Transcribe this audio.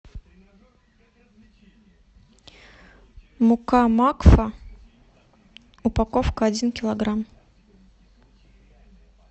мука макфа упаковка один килограмм